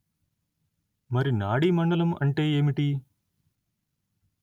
మరి నాడీ మండలం అంటే ఏమిటి